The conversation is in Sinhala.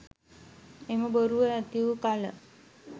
එම බොරුව නැති වූ කළ